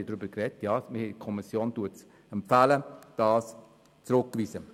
Die Kommission empfiehlt, dies zurückzuweisen.